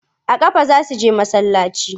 A ƙafa za su je masallaci.